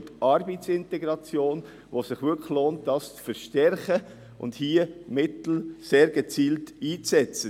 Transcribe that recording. Bei der Arbeitsintegration lohnt es sich wirklich, sie zu verstärken und Mittel sehr gezielt einzusetzen.